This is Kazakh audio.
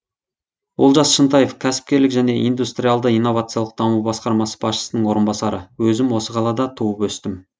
олжас шынтаев кәсіпкерлік және индустриалды инновациялық даму басқармасы басшысының орынбасары өзім осы қалада туып өстім